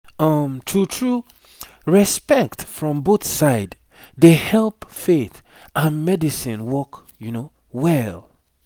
um true true respect from both side dey help faith and medicine work well